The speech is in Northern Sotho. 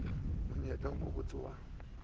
le monyetla wo mobotse wa